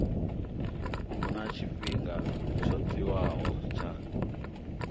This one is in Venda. huna tshifhinga tsho tiwaho tsha